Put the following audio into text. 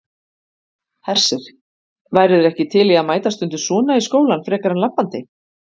Hersir: Værirðu ekki til í að mæta stundum svona í skólann frekar en labbandi?